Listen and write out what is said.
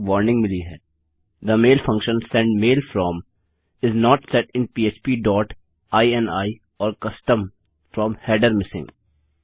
हमें एक वार्निंग मिली है the mail function send mail from is not set in पह्प dot ini or custom From header missing